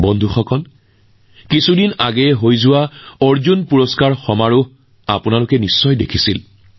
বন্ধুসকল কিছুদিন আগতে অৰ্জুন বঁটা প্ৰদান অনুষ্ঠানতো আপোনালোকে নিশ্চয় দেখিছে